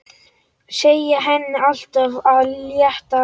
Segja henni allt af létta.